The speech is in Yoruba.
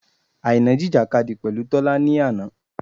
Àìná jìjìkadì pẹ̀lú Tọ́lá ni àná.